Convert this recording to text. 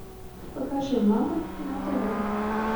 покажи мама на тв